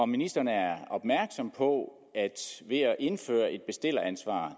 ministeren er opmærksom på at ved at indføre et bestilleransvar